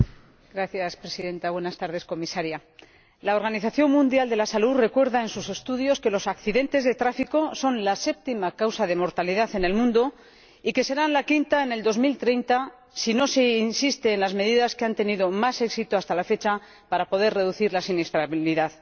Señora Presidenta, señora Comisaria, la Organización Mundial de la Salud recuerda en sus estudios que los accidentes de tráfico son la séptima causa de mortalidad en el mundo y que serán la quinta en 2030 si no se insiste en las medidas que han tenido más éxito hasta la fecha para poder reducir la siniestralidad.